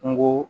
Kungo